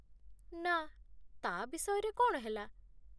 ନା, ତା' ବିଷୟରେ କ'ଣ ହେଲା?